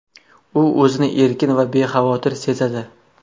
U o‘zini erkin va bexavotir sezadi.